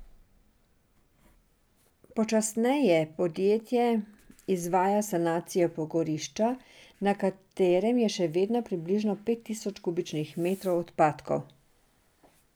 Počasneje podjetje izvaja sanacijo pogorišča, na katerem je še vedno približno pet tisoč kubičnih metrov odpadkov.